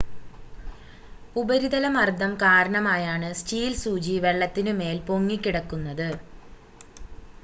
ഉപരിതല മർദ്ദം കാരണമായാണ് സ്റ്റീൽ സൂചി വെള്ളത്തിനു മേൽ പൊങ്ങിക്കിടക്കുന്നത്